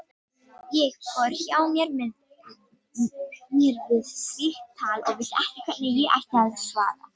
Ég fór hjá mér við slíkt tal og vissi ekki hvernig ég ætti að svara.